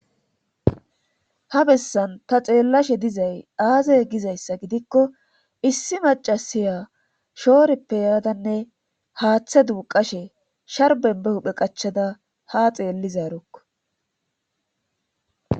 Ha bessan ta xeellashe dizay aazay gizayssa gidikko issi macasiya shooreppe yaadanne haaththe duuqashe sharbenbe huphe qachada ha xeellizaerokk.